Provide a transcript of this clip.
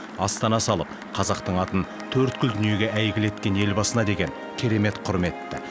астана салып қазақтың атын төрткүл дүниеге әйгілі еткен елбасына деген керемет құрметті